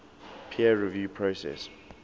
peer review process